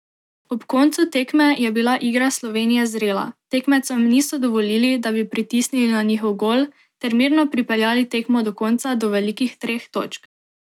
Ob koncu tekme je bila igra Slovenije zrela, tekmecem niso dovolili, da bi pritisnili na njihov gol ter mirno pripeljali tekmo do konca do velikih treh točk.